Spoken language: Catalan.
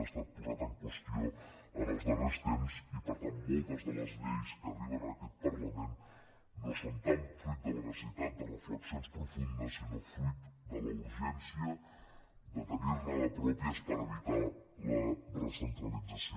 ha estat posat en qüestió en els darrers temps i per tant moltes de les lleis que arriben a aquest parlament no són tant fruit de la necessitat de reflexions profundes sinó fruit de la urgència de tenirne de pròpies per evitar la recentralització